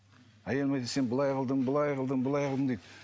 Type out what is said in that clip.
әйелім айтады сен былай қылдың былай қылдың былай қылдың дейді